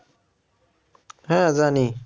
হ্যাঁ জানি